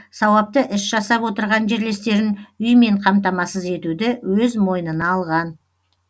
сауапты іс жасап отырған жерлестерін үймен қамтамасыз етуді өз мойнына алған